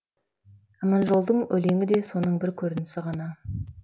аманжолдың өлеңі де соның бірі көрінісі ғана